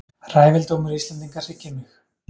Ræfildómur Íslendinga hryggir mig.